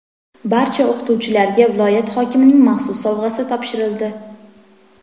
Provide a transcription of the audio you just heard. barcha bitiruvchilarga viloyat hokimining maxsus sovg‘asi topshirildi.